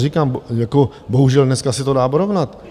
Říkám, bohužel dneska se to dá porovnat.